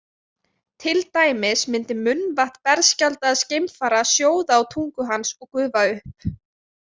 Til dæmis myndi munnvatn berskjaldaðs geimfara sjóða á tungu hans og gufa upp.